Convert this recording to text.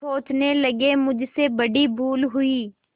सोचने लगेमुझसे बड़ी भूल हुई